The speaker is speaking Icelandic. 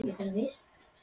Eða andrúmsloftið?